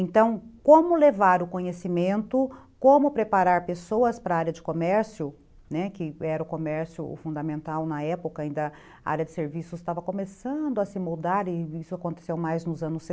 Então, como levar o conhecimento, como preparar pessoas para a área de comércio, né, que era o comércio fundamental na época, ainda a área de serviços estava começando a se moldar, e isso aconteceu mais nos anos